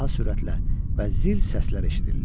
Daha sürətlə və zil səslər eşidildi.